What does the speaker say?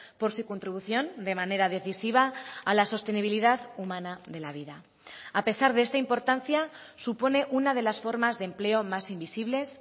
por su contribución de manera decisiva a la sostenibilidad humana de la vida a pesar de esta importancia supone una de las formas de empleo más invisibles